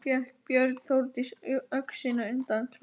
Fékk Björn Þórdísi öxina undan klæðum sínum en